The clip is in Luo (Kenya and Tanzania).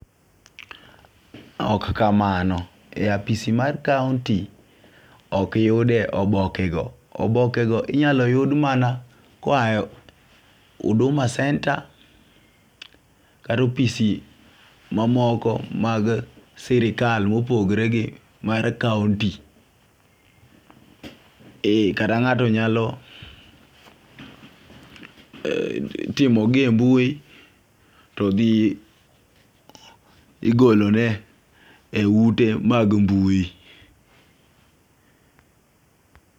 Ok kamano. E apasi mar kaonti ok yude oboke go. Oboke go inyalo yud mana koa e Huduma Center kata opisi mamoko mad sirikal mopogore gi mar kaonti. Kata ng'ato nyalo timo gi e mbui to dhi igolone e ute mad mbui.